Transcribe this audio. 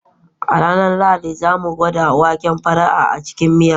A ranar Lahadi, za mu gwada waken fara a cikin miya.